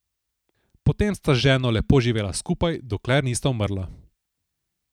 Potem sta z ženo lepo živela skupaj, dokler nista umrla.